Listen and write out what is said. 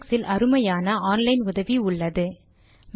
லினக்ஸில் அருமையான online உதவி உள்ளது